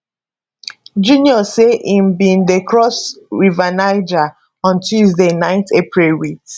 junior say im bin dey cross river niger on tuesday 9 april wit